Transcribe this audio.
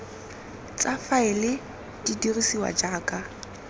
tsa faele di dirisiwa jaaka